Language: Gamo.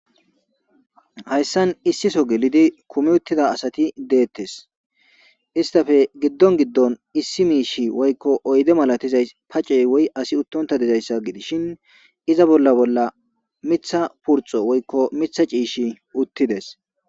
Hayssan issiso gelidi kumi uttida asati deetees; istappe giddon giddon issi miishshi woykko oyde malatizas pace woy asi uttonta dizayssa gidishin iza bolla bolla miththa purxo woykko miththa ciishshi uttides.